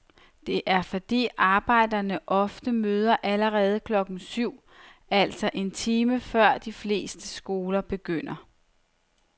Det er fordi arbejdere ofte møder allerede klokken syv, altså en time før de fleste skoler begynder.